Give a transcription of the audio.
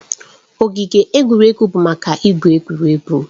Ogige egwuregwu bụ maka igwu egwu.